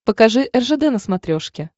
покажи ржд на смотрешке